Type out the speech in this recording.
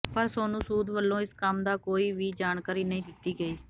ਪਰ ਸੋਨੂੰ ਸੂਦ ਵੱਲੋਂ ਇਸ ਕੰਮ ਦੀ ਕੋਈ ਵੀ ਜਾਣਕਾਰੀ ਨਹੀਂ ਦਿੱਤੀ ਗਈ